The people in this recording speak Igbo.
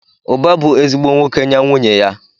Uba bu ezigbo nwoke nye nwunye ya.